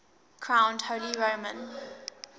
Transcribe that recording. crowned holy roman